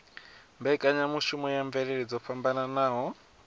mbekanyamushumo ya mvelele dzo fhambanaho